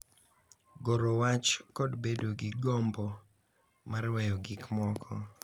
Goro wach, kod bedo gi gombo mar weyo gik moko,